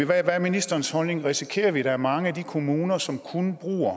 hvad er ministerens holdning risikerer vi at der er mange kommuner som kun bruger